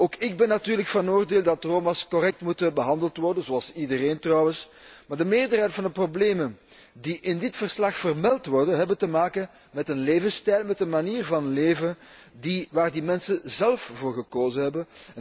Ook ik ben natuurlijk van oordeel dat de Roma correct behandeld moeten worden, zoals iedereen trouwens, maar de meerderheid van de problemen die in dit verslag vermeld worden, hebben te maken met een levensstijl, met een manier van leven waar die mensen zélf voor gekozen hebben.